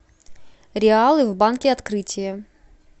реалы в банке открытие